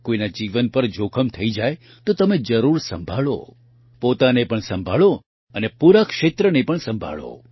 કોઇના જીવન પર જોખમ થઇ જાય તો તમે જરૂર સંભાળો પોતાને પણ સંભાળો અને પૂરા ક્ષેત્રને પણ સંભાળો